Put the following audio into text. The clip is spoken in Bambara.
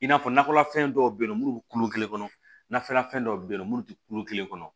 I n'a fɔ nakɔlafɛn dɔw be yen nɔ munnu be kulo kelen kɔnɔ na fɛn dɔw be yen nɔ munnu ti kulo kelen kɔnɔ